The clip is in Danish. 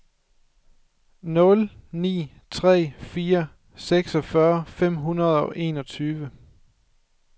nul ni tre fire seksogfyrre fem hundrede og enogtyve